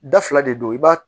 Da fila de don i b'a